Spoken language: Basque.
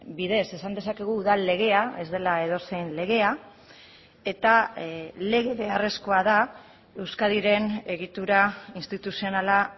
bidez esan dezakegu udal legea ez dela edozein legea eta lege beharrezkoa da euskadiren egitura instituzionala